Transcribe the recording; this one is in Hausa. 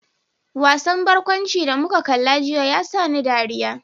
Wasan barkwanci da muka kalla jiya ya sa ni dariya.